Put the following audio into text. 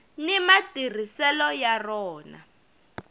ni matirhiselo ya rona